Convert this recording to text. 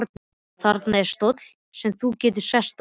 Þarna er stóll sem þú getur sest á.